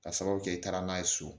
Ka sababu kɛ i taara n'a ye so